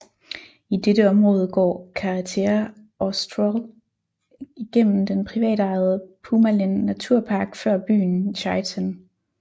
I dette område går Carretera Austral igennem den privatejede Pumalin naturpark før byen Chaiten